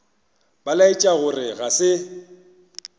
ba laetša gore ga se